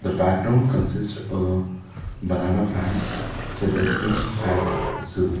background consist a banana plants at zoo